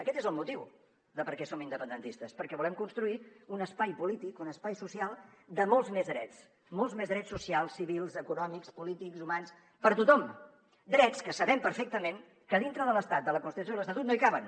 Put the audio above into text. aquest és el motiu de per què som independentistes perquè volem construir un espai polític un espai social de molts més drets molts més drets socials civils econòmics polítics humans per a tothom drets que sabem perfectament que dintre de l’estat de la constitució i de l’estatut no hi caben